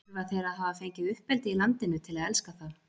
Þurfa þeir að hafa fengið uppeldi í landinu til að elska það?